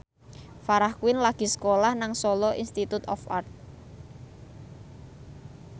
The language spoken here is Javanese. Farah Quinn lagi sekolah nang Solo Institute of Art